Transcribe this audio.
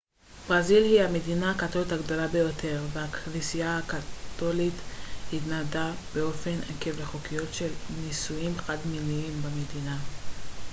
ברזיל היא המדינה הקתולית הגדולה ביותר בעולם והכנסייה הקתולית התנגדה באופן עקבי לחוקיות של נישואים חד-מיניים במדינה